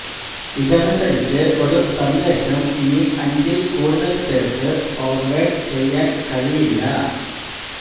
ഇതനുസരിച്ച് ഒരു സന്ദേശം ഇനി അഞ്ചില് കൂടുതല് പേര്ക്ക് ഫോര്വേഡ് ചെയ്യാന് കഴിയില്ല